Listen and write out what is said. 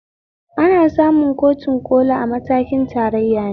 Ana samun kotun ƙoli a matakin tarayyane